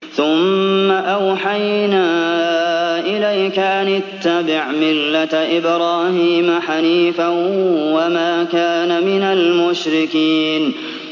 ثُمَّ أَوْحَيْنَا إِلَيْكَ أَنِ اتَّبِعْ مِلَّةَ إِبْرَاهِيمَ حَنِيفًا ۖ وَمَا كَانَ مِنَ الْمُشْرِكِينَ